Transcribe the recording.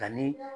Ka ni